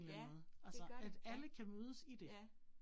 Ja, det gør det, ja, ja